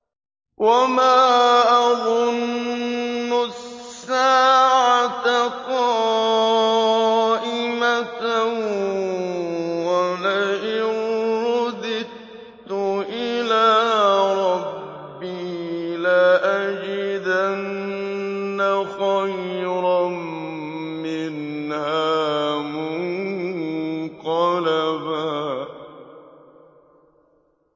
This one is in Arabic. وَمَا أَظُنُّ السَّاعَةَ قَائِمَةً وَلَئِن رُّدِدتُّ إِلَىٰ رَبِّي لَأَجِدَنَّ خَيْرًا مِّنْهَا مُنقَلَبًا